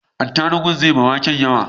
Atarubun zai ma waken yawa